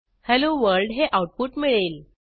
hello world हे output मिळेल